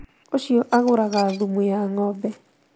Ũcio agũraga thumu ya ngʻombe